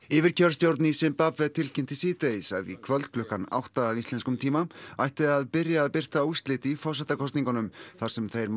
yfirkjörstjórn í Simbabve tilkynnti síðdegis að í kvöld klukkan átta að íslenskum tíma ætti að byrja að birta úrslit í forsetakosningunum þar sem þeir